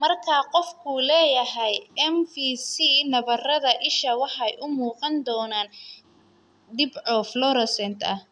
Marka qofku leeyahay MFC, nabarrada isha waxay u muuqan doonaan dhibco fluorescent ah.